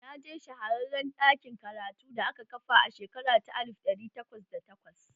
Na je shahararren ɗakin karatu da aka kafa a shekara ta alif ɗari takwas da takwas